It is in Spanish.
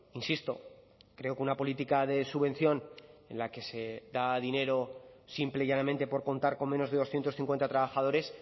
insisto creo que una política de subvención en la que se da dinero simple y llanamente por contar con menos de doscientos cincuenta trabajadores